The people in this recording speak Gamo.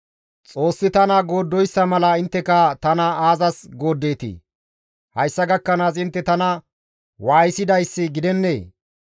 Xoossi tana gooddoyssa mala intteka tana aazas gooddeetii? Hayssa gakkanaas intte tana waayisidayssi gidennee?